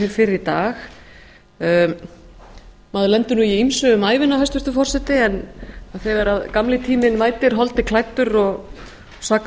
í dag maður lendir nú í ýmsu um ævina hæstvirtur forseti en þegar gamli tíminn mætir holdi klæddur og sakar